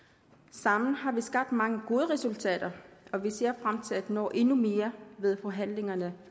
sammen har vi skabt mange gode resultater og vi ser frem til at nå endnu mere ved forhandlingerne